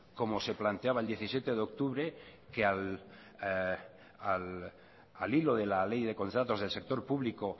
como se planteaba el diecisiete de octubre que al hilo de la ley de contratos del sector público